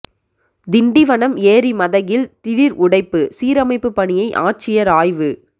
திண்டிவனம் ஏரி மதகில் திடீா் உடைப்பு சீரமைப்புப் பணியை ஆட்சியா் ஆய்வு